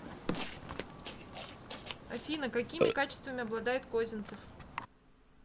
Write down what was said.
афина какими качествами обладает козинцев